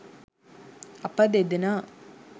අප දෙදෙනා